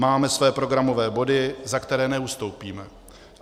Máme své programové body, za které neustoupíme.